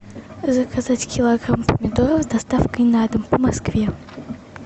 заказать килограмм помидоров с доставкой на дом по москве